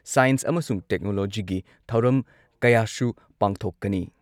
School ꯑꯉꯥꯡꯁꯤꯡꯗꯁꯨ science ꯑꯃꯁꯨꯡ ꯇꯦꯛꯅꯣꯂꯣꯖꯤꯒꯤ ꯊꯧꯔꯝ ꯀꯌꯥꯁꯨ ꯄꯥꯡꯊꯣꯛꯀꯅꯤ꯫